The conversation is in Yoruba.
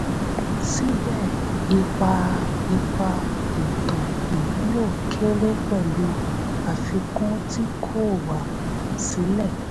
síbẹ̀ ipa ipa ètò ìmúlò kéré pẹ̀lú àfikún tí kò wá sílẹ̀.